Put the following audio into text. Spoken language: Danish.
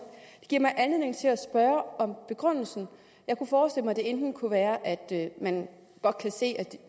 anledning til at spørge om begrundelsen jeg kunne forestille mig at det enten kunne være at man godt kan se